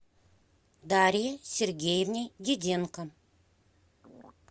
дарье сергеевне диденко